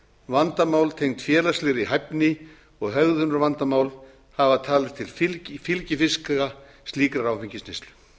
vandamál tengd félagslegri hæfni og hegðunarvandamál hafa talist til fylgifiska slíkrar áfengisneyslu